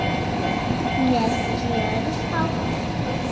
Með gjörð og prik.